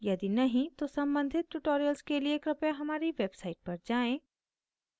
यदि नहीं तो सम्बंधित tutorials के लिए कृपया हमारी website पर जाएँ